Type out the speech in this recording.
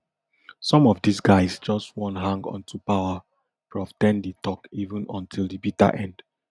some of these these guys just wan hang onto power prof ten di tok even until di bitter end